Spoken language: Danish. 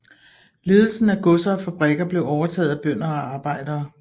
Ledelsen af godser og fabrikker blev overtaget af bønder og arbejdere